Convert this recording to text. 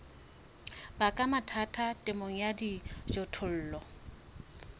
baka mathata temong ya dijothollo